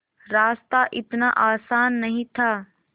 रास्ता इतना आसान नहीं था